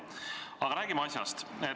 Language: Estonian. Aga räägime asjast.